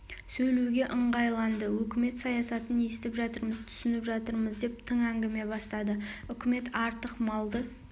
сөйлеуге ыңғайланды өкімет саясатын естіп жатырмыз түсініп жатырмыз деп тың әңгіме бастады үкімет артық малды